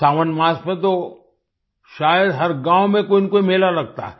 सावन मास में तो शायद हर गांव में कोईनकोई मेला लगता है